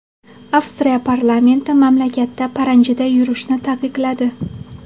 Avstriya parlamenti mamlakatda paranjida yurishni taqiqladi.